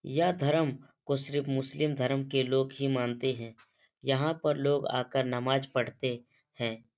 यह धर्म को सिर्फ मुस्लिम धर्म के लोग ही मानते हैं। यहाँ पर लोग आ कर नमाज पढ़ते हैं।